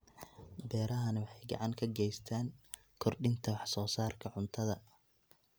Beerahani waxay gacan ka geystaan ??kordhinta wax soo saarka cuntada.